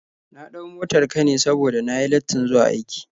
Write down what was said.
Na ɗau motar ka ne saboda na yi lattin zuwa aiki.